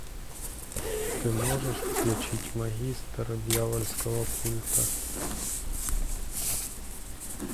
ты можешь включить магистр дьявольского культа